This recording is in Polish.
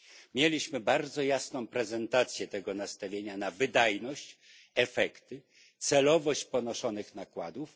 Mieliśmy bardzo jasną prezentację tego nastawienia na wydajność, efekty, celowość ponoszonych nakładów.